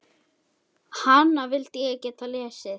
Hana vildi ég geta lesið.